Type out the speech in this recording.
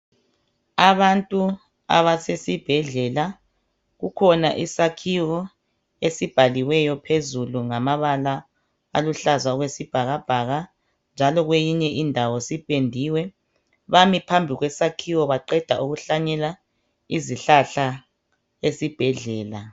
Abantu abasesibhedlela kukhona isakhiwo esibhaliweyo ngamabala aluhlaza okwesibhakabhaka njalo kweyinye indawo sipendiwe. Bami phambi kwesakhiwo baqeda ukuhlanyela izihlahla esibhedlela